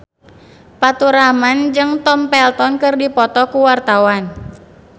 Faturrahman jeung Tom Felton keur dipoto ku wartawan